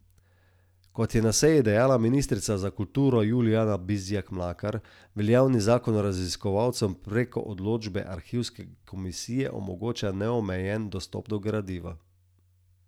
Kot je na seji dejala ministrica za kulturo Julijana Bizjak Mlakar, veljavni zakon raziskovalcem preko odločbe arhivske komisije omogoča neomejen dostop do gradiva.